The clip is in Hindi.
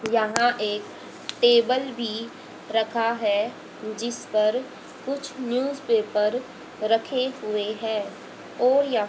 यहां एक टेबल भी रखा है जिस पर कुछ न्यूजपेपर रखे हुए हैं और यहां--